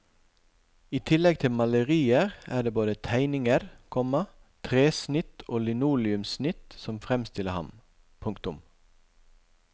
I tillegg til malerier er det både tegninger, komma tresnitt og linoleumssnitt som fremstiller ham. punktum